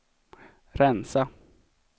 rensa